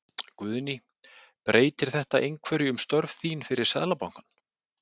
Guðný: Breytir þetta einhverju um störf þín fyrir Seðlabankann?